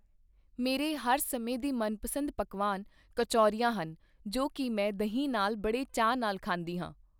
ਮੇਰੇ ਹਰ ਸਮੇਂ ਦੀ ਮਨਪਸੰਦ ਪਕਵਾਨ ਕਚੋਰੀਆਂ ਹਨ ਜੋ ਕਿ ਮੈਂ ਦਹੀਂ ਨਾਲ਼ ਬੜੇ ਚਾਅ ਨਾਲ ਖਾਂਦੀ ਹਾਂ।